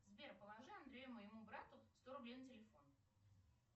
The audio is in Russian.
сбер положи андрею моему брату сто рублей на телефон